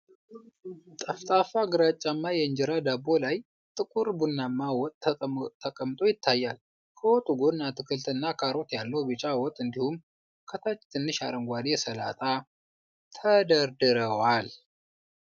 ጠፍጣፋ ግራጫማ የእንጀራ ዳቦ ላይ ጥቁር ቡናማ ወጥ ተቀምጦ ይታያል። ከወጡ ጎን አትክልትና ካሮት ያለው ቢጫ ወጥ እንዲሁም ከታች ትንሽ አረንጓዴ ሰላጣ ተደርድረዋል።